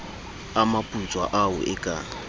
a maputswa ao e ka